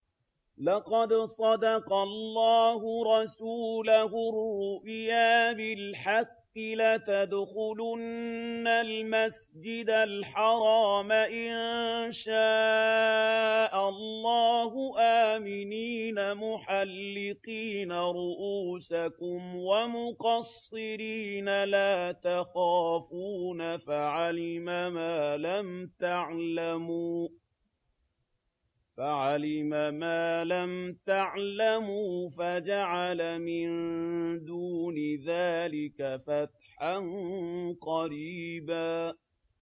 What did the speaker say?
لَّقَدْ صَدَقَ اللَّهُ رَسُولَهُ الرُّؤْيَا بِالْحَقِّ ۖ لَتَدْخُلُنَّ الْمَسْجِدَ الْحَرَامَ إِن شَاءَ اللَّهُ آمِنِينَ مُحَلِّقِينَ رُءُوسَكُمْ وَمُقَصِّرِينَ لَا تَخَافُونَ ۖ فَعَلِمَ مَا لَمْ تَعْلَمُوا فَجَعَلَ مِن دُونِ ذَٰلِكَ فَتْحًا قَرِيبًا